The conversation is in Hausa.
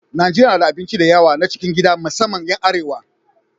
Najeriya na da abinci da yawa na cikin gida musamman 'yan arewa.